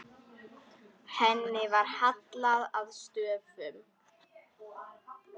Henni var hallað að stöfum.